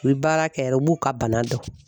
U bi baara kɛ yɛrɛ u b'u ka bana dɔn.